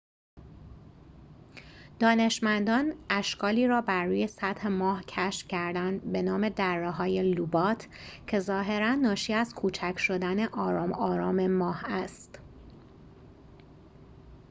دانشمندان اشکالی را بروی سطح ماه کشف کردند به نام دره‌های لوبات که ظاهراً ناشی از کوچک شدن آرام آرام ماه است